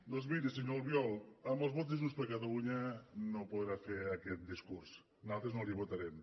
doncs miri senyor albiol amb els vots de junts per catalunya no podrà fer aquest discurs nosaltres no li votarem